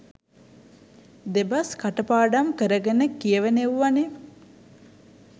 දෙබස් කටපාඩම් කරගෙන කියවන එව්වනේ